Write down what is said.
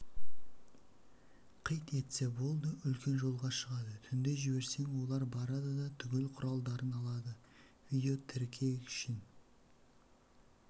қит етсе болды үлкен жолға шығады түнде жіберсең олар барады да түгел құралдарын алады видеотіркегішін